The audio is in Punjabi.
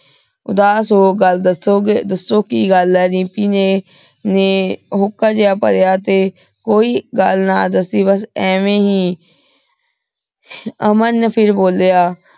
ਉਦਾਸ ਹੋ ਗਲ ਦਸੋ ਕੀ ਗਲ ਆਯ ਦਿਮ੍ਪੀ ਨੇ ਹੋਕਾ ਜੇਹਾ ਭਾਰਯ ਤੇ ਕੋਈ ਗਲ ਨਾ ਦਾਸੀ ਬਾਸ ਐਵੇ ਹੀ ਅਮਨ ਫੇਰ ਬੋਲ੍ਯਾ